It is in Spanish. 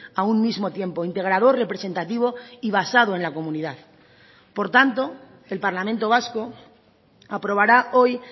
a un mismo tiempo integrador representativo y basado en la comunidad por tanto el parlamento vasco aprobará hoy